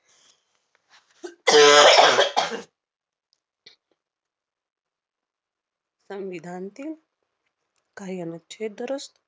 संविधानतील काही अनुच्छेद दुरुस्त